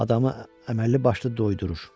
Adamı əməlli başlı doyudurur.